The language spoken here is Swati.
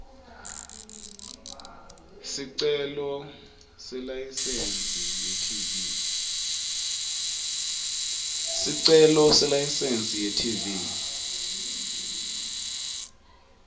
sicelo selayisensi yetv